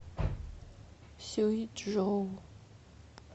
сюйчжоу